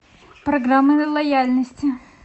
программа лояльности